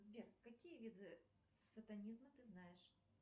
сбер какие виды сатанизма ты знаешь